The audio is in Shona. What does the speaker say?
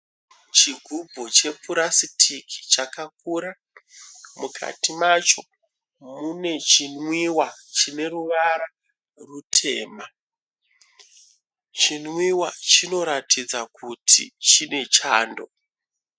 Chigumbu chepurasitiki chakaura, mukati macho mune chinwiwa chine ruvara rwutema, chinwiwa chinotaridza kuti chine chando.